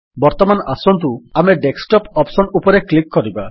ବର୍ତ୍ତମାନ ଆସନ୍ତୁ ଆମେ ଡେସ୍କଟପ୍ ଅପ୍ସନ୍ ଉପରେ କ୍ଲିକ୍ କରିବା